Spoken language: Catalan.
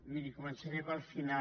miri començaré pel final